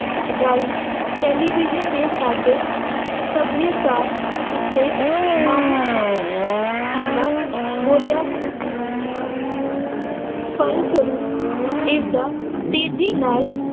ਰਾਹੀਂ television ਨੇ ਸਾਡੇ ਸੱਭਿਆਚਾਰ ਉੱਤੇ ਹਮਲਾ ਬੋਲਿਆ ਹੈ। ਫਲਸਰੂਪ ਇਸਦਾ ਤੇਜ਼ੀ ਨਾਲ